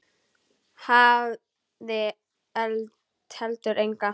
Hafði heldur enga.